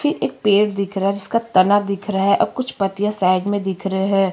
फिर एक पेड़ दिख रहा है जिसका तना दिख रहा है और कुछ पत्तीया साइड मे दिख रहै है।